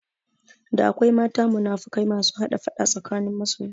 Da akwai mata munafukai masu hada faɗa tsakanin masoya